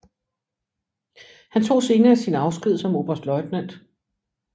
Han tog senere sin afsked som oberstløjtnant